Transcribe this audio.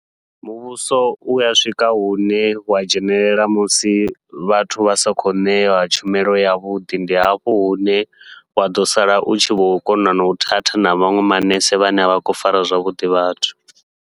Muvhuso uya swika hune wa dzhenelela musi vhathu vha sa khou ṋewa tshumelo yavhuḓi, ndi hafho hune wa ḓo sala u tshi vho kona nau thatha na vhaṅwe manese vhane avha khou fara zwavhuḓi vhathu.